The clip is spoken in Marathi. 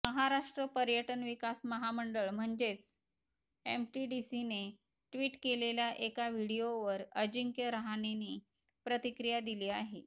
महाराष्ट्र पर्यटन विकास महामंडळ म्हणजेच एमटीडीसीने ट्विट केलेल्या एका व्हिडिओवर अजिंक्य रहाणेने प्रतिक्रिया दिली आहे